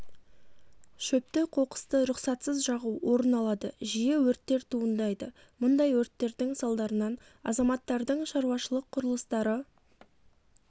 шөпті қоқысты рұқсатсыз жағу орын алады жиі өрттер туындайды мұндай өрттердің салдарынан азаматтардың шаруашылық құрылыстары